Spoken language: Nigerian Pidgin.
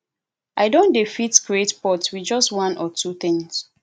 i don dey fit create pot with just one or two things